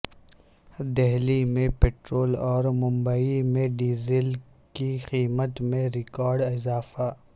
دہلی میں پٹرول اور ممبئی میں ڈیزل کی قیمت میں ریکارڈ اضافہ